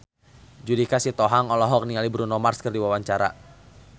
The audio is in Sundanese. Judika Sitohang olohok ningali Bruno Mars keur diwawancara